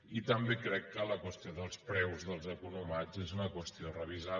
i també crec que la qüestió dels preus dels economats és una qüestió a revisar